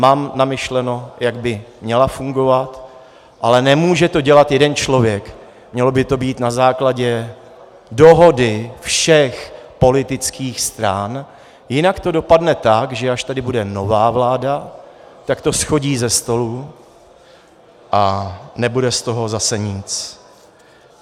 Mám namyšleno, jak by měla fungovat, ale nemůže to dělat jeden člověk, mělo by to být na základě dohody všech politických stran, jinak to dopadne tak, že až tady bude nová vláda, tak to shodí ze stolu a nebude z toho zase nic.